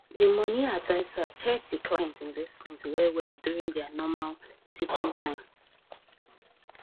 the money adviser check the client investment well well during their normal teaching time